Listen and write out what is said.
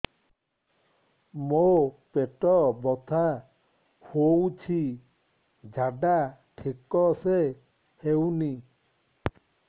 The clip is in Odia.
ମୋ ପେଟ ବଥା ହୋଉଛି ଝାଡା ଠିକ ସେ ହେଉନି